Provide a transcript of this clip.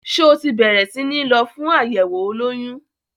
Ṣé o ti bẹ̀rẹ̀ sí ní lọ fún àyẹ̀wò olóyún?